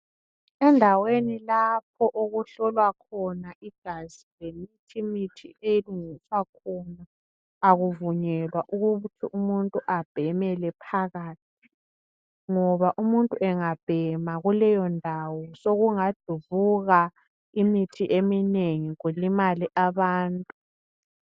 Endaweni lapho okuhlolwa khona igazi lemithi elungiswa khona akuvunyelwa ukuthi umuntu abhemele phakathi ngoba umuntu engabhema kukeyo ndawo sokungadubuka imithi eminengi kulimale abantu.